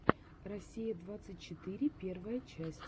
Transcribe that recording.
россия двадцать четыре первая часть